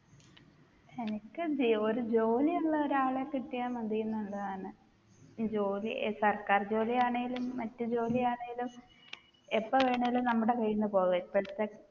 എനിക്കെന്തേ ഒരു ജോലിയുള്ള ഒരാളെ കിട്ടിയാ മതീന്നുള്ളതാണ് ജോലി സർക്കാർ ജോലിയാണെലും മറ്റു ജോലിയാണെലും എപ്പൊ വേണേലും നമ്മടെ കൈയ്യിന്ന് പോകാ ഇപ്പോഴത്തെ